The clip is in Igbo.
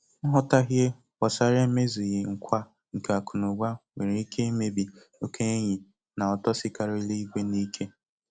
Nghọtahie gbásárá emezughị nkwa nke akụnaụba nwéré ike imebi okè enyi na ụtọ sikarịrị ígwè n'ike.